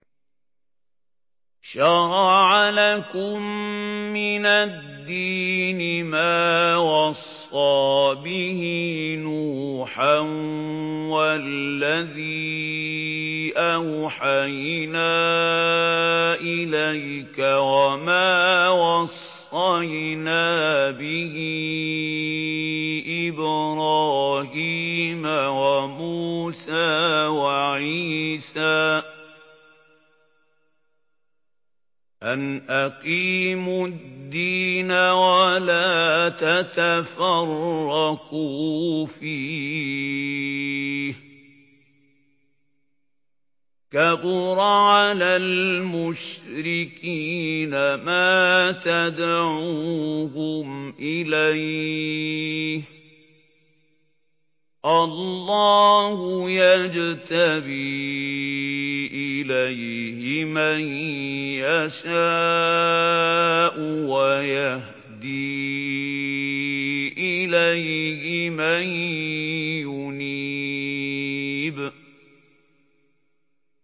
۞ شَرَعَ لَكُم مِّنَ الدِّينِ مَا وَصَّىٰ بِهِ نُوحًا وَالَّذِي أَوْحَيْنَا إِلَيْكَ وَمَا وَصَّيْنَا بِهِ إِبْرَاهِيمَ وَمُوسَىٰ وَعِيسَىٰ ۖ أَنْ أَقِيمُوا الدِّينَ وَلَا تَتَفَرَّقُوا فِيهِ ۚ كَبُرَ عَلَى الْمُشْرِكِينَ مَا تَدْعُوهُمْ إِلَيْهِ ۚ اللَّهُ يَجْتَبِي إِلَيْهِ مَن يَشَاءُ وَيَهْدِي إِلَيْهِ مَن يُنِيبُ